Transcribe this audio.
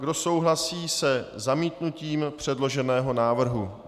Kdo souhlasí se zamítnutím předloženého návrhu?